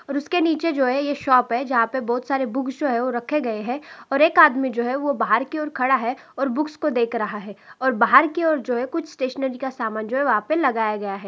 और उसके नीचे जो है यह शॉप है जहां पर बहुत सारे बुक्स जो है वह रखे गए हैं और एक आदमी जो है वह बाहर की ओर खड़ा है और बुक्स को देख रहा है और बाहर की ओर जो है कुछ स्टेशनरी का सामान जो है वहां पर लगाया गया है।